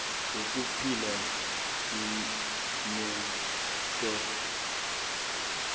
lokuphila imeans test